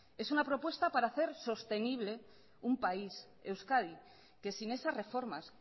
es una propuesta para hacer sostenible un país euskadi que sin esas reformas